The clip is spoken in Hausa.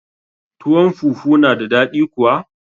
Tuwon fufu na da daɗi kuwa